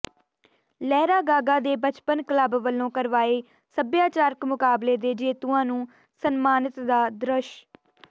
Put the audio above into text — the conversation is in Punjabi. ਲਹਿਰਾਗਾਗਾ ਦੇ ਬਚਪਨ ਕਲੱਬ ਵਲੋਂ ਕਰਵਾਏ ਸਭਿਆਚਾਰਕ ਮੁਕਾਬਲੇ ਦੇ ਜੇਤੂਆਂ ਨੂੰ ਸਨਮਾਨਤ ਦਾ ਦ੍ਰਿਸ਼